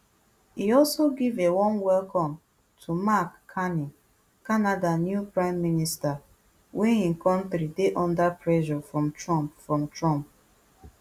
e also give a warm welcome to mark carney canada new prime minister wey im kontri dey under pressure from trump from trump